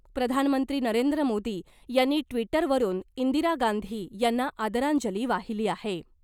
प्रधानमंत्री नरेंद्र मोदी यांनी ट्विटरवरुन इंदिरा गांधी यांना आदरांजली वाहिली आहे .